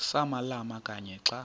samalama kanye xa